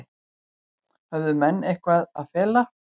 Höfðu menn eitthvað að fela?